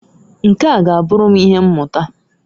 Nkea g'aburu m ihe mmuta.